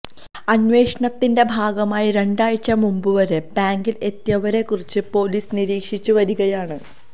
അന്വേഷണത്തിന്റെ ഭാഗമായി രണ്ടാഴ്ച മുമ്പ് വരെ ബാങ്കില് എത്തിയവരെ കുറിച്ച് പോലീസ് നിരീക്ഷിച്ച് വരകിയാണ്